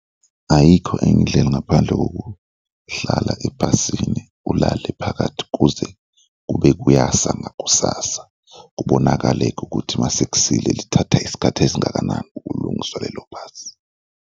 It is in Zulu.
Ayikho enye indlela ngaphandle kokuhlala ebhasini ulale phakathi kuze kube kuyasa ngakusasa, kubonakale-ke ukuthi mase kusile lithatha isikhathi esingakanani ukulungiswa lelo bhasi.